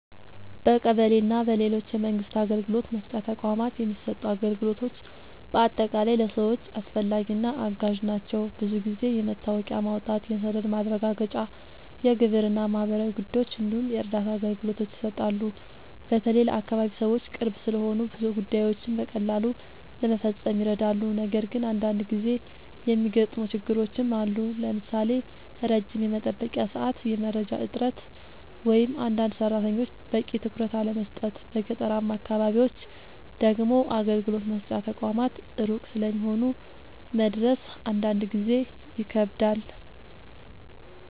በቀበሌ እና በሌሎች የመንግስት አገልግሎት መስጫ ተቋማት የሚሰጡ አገልግሎቶች በአጠቃላይ ለሰዎች አስፈላጊ እና አጋዥ ናቸው። ብዙ ጊዜ የመታወቂያ ማውጣት፣ የሰነድ ማረጋገጫ፣ የግብር እና ማህበራዊ ጉዳዮች እንዲሁም የእርዳታ አገልግሎቶች ይሰጣሉ። በተለይ ለአካባቢ ሰዎች ቅርብ ስለሆኑ ብዙ ጉዳዮችን በቀላሉ ለመፈጸም ይረዳሉ። ነገር ግን አንዳንድ ጊዜ የሚገጥሙ ችግሮችም አሉ፣ ለምሳሌ ረጅም የመጠበቂያ ሰዓት፣ የመረጃ እጥረት ወይም አንዳንድ ሰራተኞች በቂ ትኩረት አለመስጠት። በገጠራማ አካባቢዎች ደግሞ አገልግሎት መስጫ ተቋማት ሩቅ ስለሚሆኑ መድረስ አንዳንድ ጊዜ ይከብዳል።